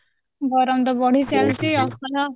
ଗରମ ତ ବଢି ଚାଲିଛି ଆଉ